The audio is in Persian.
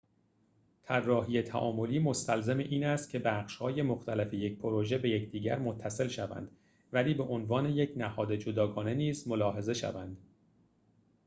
طراحی تعاملی مستلزم این است که بخش‌های مختلف یک پروژه به یکدیگر متصل شوند ولی به عنوان یک نهاد جداگانه نیز ملاحظه شوند